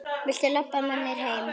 Viltu labba með mér heim?